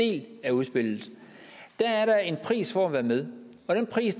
del af udspillet er der en pris for at være med og den pris